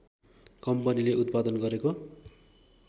कम्पनीले उत्पादन गरेको